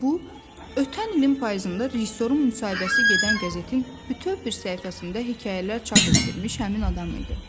Bu ötən ilin payızında rejissorun müsahibəsi gedən qəzetin bütöv bir səhifəsində hekayələr çap etdirmiş həmin adam idi.